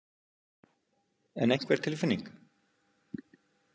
En einhver tilfinning?